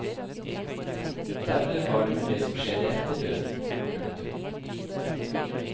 Verre var det med det som skjedde etter døden. punktum